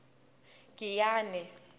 giyane